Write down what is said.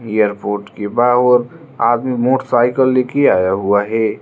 Airport के बाहर आदमी मोटरसाइकिल लेके आया हुआ है।